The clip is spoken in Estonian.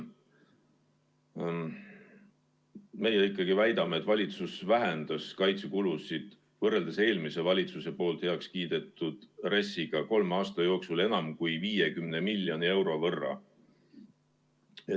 Meie ikkagi väidame, et valitsus vähendas kaitsekulusid võrreldes eelmise valitsuse heakskiidetud RES‑iga kolme aasta jooksul enam kui 50 miljoni euro võrra.